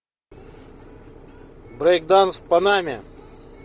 брейк данс в панаме